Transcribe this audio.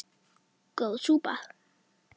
Góð súpa